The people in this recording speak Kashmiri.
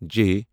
جے